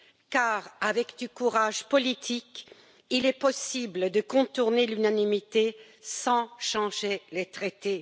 Car, avec du courage politique, il est possible de contourner l'unanimité sans changer les traités.